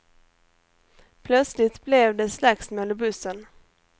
Plötsligt blev det slagsmål i bussen.